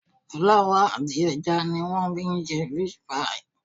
Fúláwà àti ẹja ni wọ́n fi ń ṣe fish pie